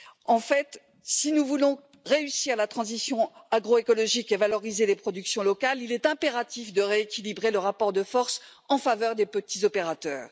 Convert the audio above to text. En fait, si nous voulons réussir la transition agroécologique et valoriser les productions locales, il est impératif de rééquilibrer le rapport de force en faveur des petits opérateurs.